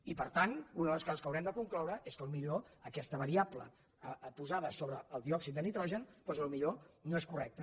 i per tant una de les coses que haurem de concloure és que potser aquesta variable posada sobre el diòxid de nitrogen doncs potser no és correcta